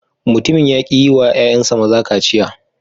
Mutumin ya ki yi wa ‘ƴa’ƴansa maza kaciya.